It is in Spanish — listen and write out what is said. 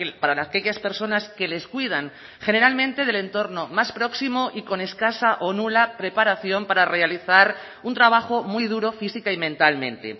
para aquellas personas que les cuidan generalmente del entorno más próximo y con escasa o nula preparación para realizar un trabajo muy duro física y mentalmente